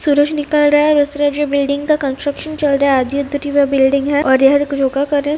सूरज निकल रहा है और दूसरे बाजु बिल्डिंग का कंस्ट्रक्शन चल रहा है आधी-अधूरी वह बिल्डिंग है और यहाँ कुछ लोग योगा कर रहे है।